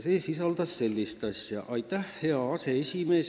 See sisaldas sellist lõiku: "Aitäh, hea aseesimees!